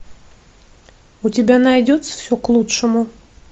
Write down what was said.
у тебя найдется все к лучшему